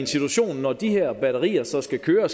situation at når de her batterier så skal køre